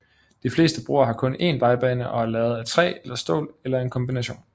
De fleste broer har kun en vejbane og er lavet af træ eller stål eller en kombination